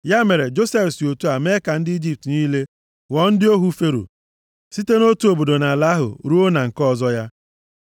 Ya mere, Josef si otu a mee ka ndị Ijipt niile ghọọ ndị ohu Fero, site nʼotu obodo nʼala ahụ ruo na nke ọzọ ya.